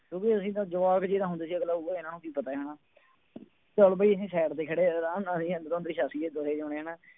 ਕਿਉਂਕਿ ਅਸੀਂ ਤਾਂ ਜਵਾਕ ਜਿਹੇ ਤਾਂ ਹੁੰਦੇ ਸੀ ਅਗਲਾ ਕਹੇਗਾ ਇਹਨਾਂ ਨੂੰ ਕੀ ਪਤਾ ਹੈ ਹਨਾ ਚੱਲ ਬਈ ਅਸੀਂ side ਤੇ ਖੜੇ ਆਰਾਮ ਨਾਲ ਅਸੀਂ ਅੰਦਰੋਂ ਅੰਦਰੀ ਹੱਸੀਏ ਦੋਹੇਂ ਜਾਣੇ ਹਨਾ।